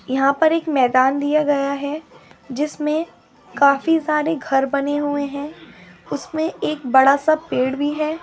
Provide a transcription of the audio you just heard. यहाँ पर एक मैदान दिया गया है जिसमें काफी सारे घर बने हुए हैं उसमें एक बड़ा-सा पेड़ भी है।